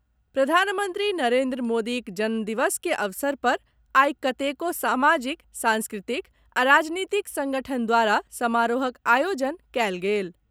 प्रधानमंत्री नरेन्द्र मोदीक जन्म दिवस के अवसर पर आई कतेको सामाजिक, सांस्कृतिक आ राजनीतिक संगठन द्वारा समारोहक आयोजन कयल गेल।